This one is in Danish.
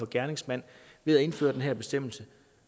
gerningsmanden ved at indføre den her bestemmelse